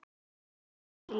Eru þetta fágætir bílar?